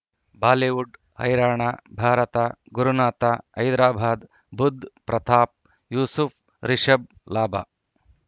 Bollywood ಹೈರಾಣ ಭಾರತ ಗುರುನಾಥ ಹೈದರಾಬಾದ್ ಬುಧ್ ಪ್ರತಾಪ್ ಯೂಸುಫ್ ರಿಷಬ್ ಲಾಭ